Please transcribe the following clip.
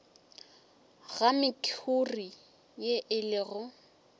ga mekhuri ye e lego